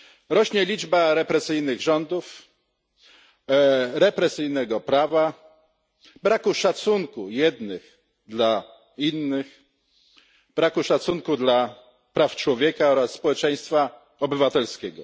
Rośnie liczba represyjnych rządów, represyjnego prawa, braku szacunku jednych dla innych, braku szacunku dla praw człowieka oraz społeczeństwa obywatelskiego.